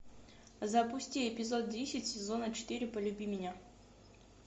запусти эпизод десять сезона четыре полюби меня